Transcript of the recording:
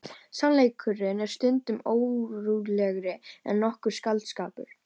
Sannleikurinn er stundum ótrúlegri en nokkur skáldskapur.